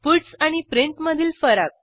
puts आणि print मधील फरक